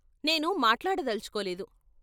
నేను మాట్లాడదలుచుకోలేదు.